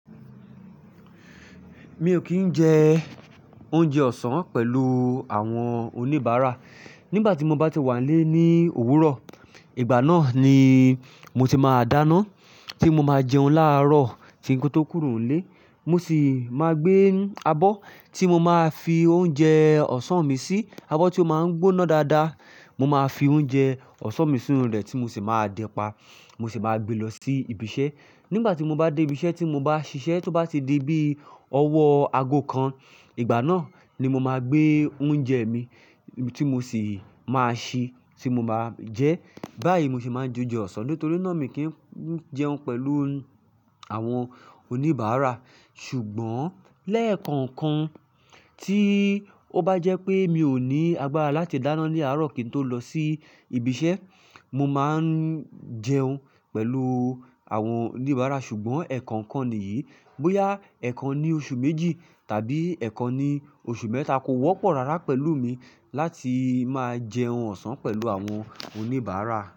Mi ò kí ń jẹ oúnjẹ ọ̀sán pẹ̀lú àwọn oníbàárà. Nígbà tí mo bá ti wà nílé ní òwúrọ̀, ìgbà náà ni mo ti máa dáná, tí mo máa jẹun láàárọ̀ tí ń kó tó kúrò nílé. Mo sì máa gbé abọ́ tí mo máa fi oúnjẹ ọ̀sán mi sí, abọ́ tí ó máa ń gbóná dáadáa. Mo máa fi oúnjẹ ọ̀sán mi sínú rẹ̀ tí mo sì máa dẹ pa. Mo sì máa gbé lọ sí ibi iṣẹ́. Nígbà tí mo bá dé ibi iṣẹ́ tí mo bá ṣiṣẹ́, tó bá ti di bí ọwọ́ aago kan, ìgbà náà ni mo máa gbé oúnjẹ mi tí mo sì máa ṣé tí mo máa jẹ. Báyìí ni mo ṣe máa ń jẹ oúnjẹ ọ̀sán nítorí náà mi kì ń jẹun pẹ̀lú àwọn oníbàárà. Ṣùgbọ́n lẹ́ẹ̀kọ̀ọ̀kan tí ó bá jẹ́ pé mi ò ní agbára láti dáná ní àárọ̀ kí n tó lọ sí ibi iṣẹ́, mo máa ń jẹun pẹ̀lú àwọn oníbàárà. Ṣùgbọ́n ẹ̀ẹ̀kọ̀ọ̀kan nìyí, bóyá ẹ̀ẹ̀kan ni oṣù méjì tàbí ẹ̀ẹ̀kan ni oṣù mẹ́ta kò wọ́pọ̀ rárá pẹ̀lú mi láti máa jẹun ọ̀sán pẹ̀lú àwọn oníbàárà.